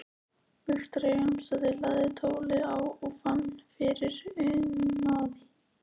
Viktoría Jónsdóttir lagði tólið á og fann fyrir unaði.